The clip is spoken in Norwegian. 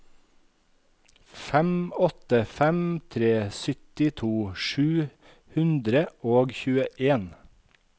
fem åtte fem tre syttito sju hundre og tjueen